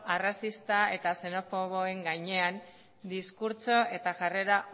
arrazista eta xenofoboen gainean diskurtso eta jarrera